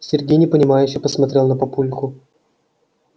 сергей непонимающе посмотрел на папульку